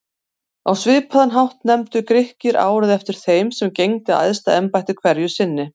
Á svipaðan hátt nefndu Grikkir árið eftir þeim sem gegndi æðsta embætti hverju sinni.